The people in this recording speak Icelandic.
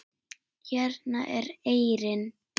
Hérna er eyrin.